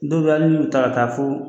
Dow bɛ ye hali n'u taara ka fɔ.